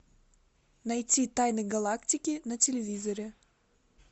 найти тайны галактики на телевизоре